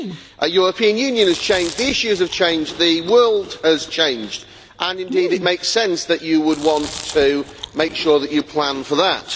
The European Union has changed, the issues have changed, the world has changed and indeed it makes sense that you would want to make sure that you plan for that.